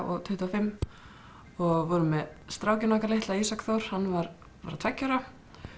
og tuttugu og fimm og vorum með strákinn okkar litla Ísak Þór hann var bara tveggja ára